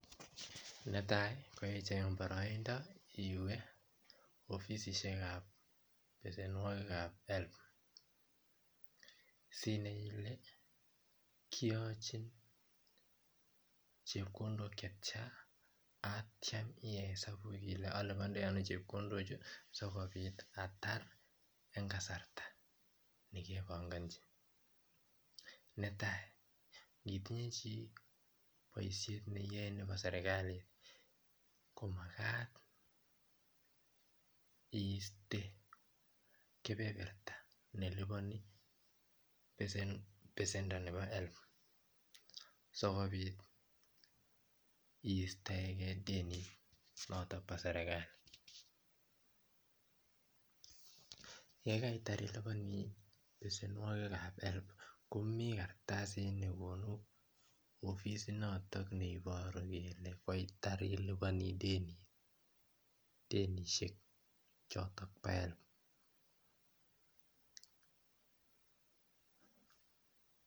Netai koicheng baraindo iwe ofisishek ab besenwagik ab helb Sinai Ile kiyachin chepkondok chetiana akitya iyai esabu Kole alubaindoi ano chepkondok ichechu sikobit atar en kasarta nekebangachi netai chi Baishonik niyae Nebo serekalit komakat koiste kebeberta nelubani besendo Nebo helb sikobit koistegei denit noton ba serikalit yekaitar ilubani besenwagik ab helb Komi kartasit nekonu ofisit noton nebaru kele koitar ilubani denit Shek choton ba helb